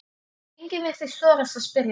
Enginn virtist þora að spyrja